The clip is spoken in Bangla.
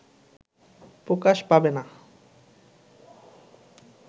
প্রকাশ পাবে না